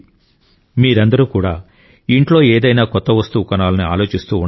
మీరందరూ కూడా ఇంట్లో ఏదైనా కొత్త వస్తువు కొనాలని ఆలోచిస్తూ ఉండవచ్చు